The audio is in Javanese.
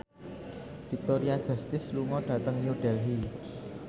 Victoria Justice lunga dhateng New Delhi